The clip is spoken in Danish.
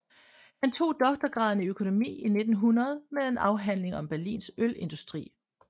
Han tog doktorgraden i økonomi i 1900 med en afhandling om Berlins ølindustri